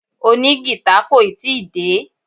Òní gìtá kò ì tí ì dé.